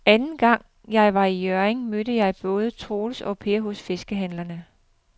Anden gang jeg var i Hjørring, mødte jeg både Troels og Per hos fiskehandlerne.